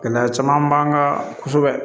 Gɛlɛya caman b'an kan kosɛbɛ